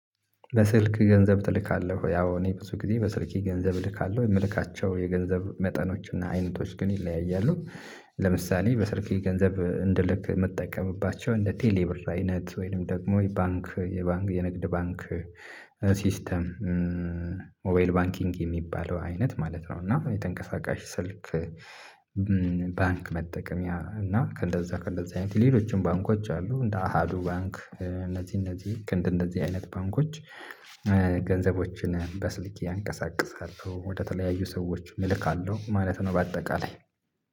በስልክ ገንዘብ ትልካለህ ወይ? ያው እኔ ብዙ ጊዜ በስልኬ ገንዘብ እልካለሁ የምልካቸው የገንዘብ መጠኖች እና አይነቶች ግን ይለያያሉ። ለምሳሌ በስልክ ገንዘብ እንደ ልክ ምጠቀምባቸው እንደ ቴሌብር አይነት ወይም ደግሞ። የባንክ የንግድ ባንክ ሲስተም ሞባይል ባንኪንግ የሚባለው አይነት ማለት ነው። እና የተንቀሳቃሽ ስልክ። ባንክ መጠቀምያ እና ከእንደዛ አይነት ሌሎችም ባንኮች አሉ እንደ አሀዱ ባንክ እነዚህ እነዚህ ልክ እንደዚህ አይነት ባንኮች። ገንዘቦችን በስልክ አንቀሳቅሳለሁ ወደ ተለያዩ ሰዎች እልካለሁ ማለት ነው። በአጠቃላይ